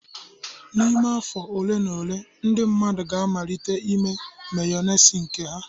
N'ime afọ ole na ole, ndị mmadụ ga-amalite ime Mayonezi nke ha